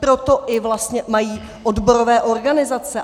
Proto i vlastně mají odborové organizace.